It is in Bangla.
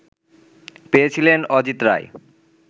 পেয়েছিলেন অজিত রায়